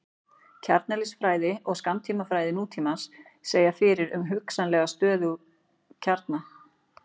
kjarneðlisfræði og skammtafræði nútímans segja fyrir um hugsanlega stöðuga kjarna